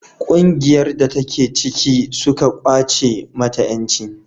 ƙungiyar da ta ke ciki suka kwace mata yanci